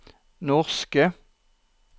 norske